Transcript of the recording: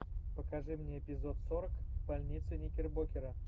покажи мне эпизод сорок больница никербокера